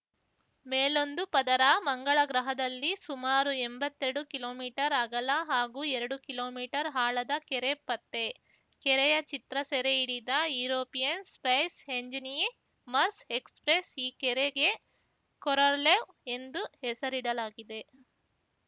ಮೇಲೊಂದು ಪದರ ಮಂಗಳ ಗ್ರಹದಲ್ಲಿ ಸುಮಾರು ಎಂಬತ್ತೆರಡು ಕಿಲೋಮೀಟರ್ ಅಗಲ ಹಾಗೂ ಎರಡು ಕಿಲೋಮೀಟರ್ ಆಳದ ಕೆರೆ ಪತ್ತೆ ಕೆರೆಯ ಚಿತ್ರ ಸೆರೆ ಹಿಡಿದ ಯುರೋಪಿಯನ್‌ ಸ್ಪೇಸ್‌ ಎಂಜನಿ ಮರ್ಸ್‌ ಎಕ್ಸ್‌ಪ್ರೆಸ್‌ ಈ ಕೆರೆಗೆ ಕೊರೊರ್ಲೆವ್ ಎಂದು ಹೆಸರಿಡಲಾಗಿದೆ